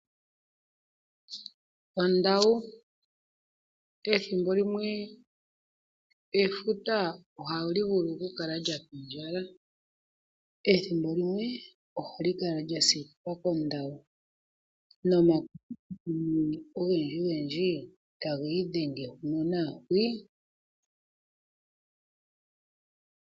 Ondawu Ethimbo limwe efuta ohali vulu kukala lya pindjala. Ethimbo limwe ohali kala lya siikilwa kondawu nomakuthikuthi ogendjigendji taga idhenge huno naa hwii.